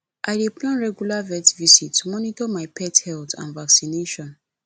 i dey plan regular vet visits to monitor my pet health and vaccinations